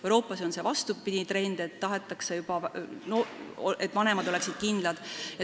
Euroopas on vastupidine trend, tahetakse, et vanematel oleks kindlus.